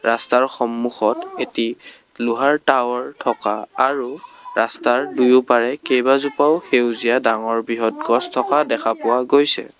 ৰাস্তাৰ সন্মুখত এটি লোহাৰ টাৱাৰ থকা আৰু ৰাস্তাৰ দুইওপাৰে কেবাজোপাও সেউজীয়া ডাঙৰ বৃহত গছ থকা দেখা পোৱা গৈছে।